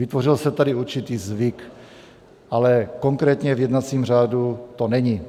Vytvořil se tady určitý zvyk, ale konkrétně v jednacím řádu to není.